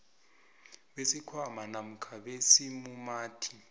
besikhwama namkha besimumathi